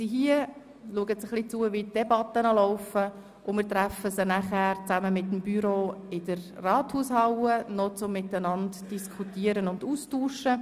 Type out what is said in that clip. Sie folgen ein wenig den Debatten, und wir treffen sie anschliessend zusammen mit dem Büro des Grossen Rats in der Rathaushalle zu Diskussion und Austausch.